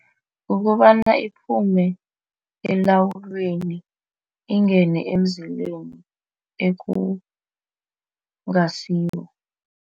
Kukobana iphume elawuleni ingene emzileni ekungasiwo.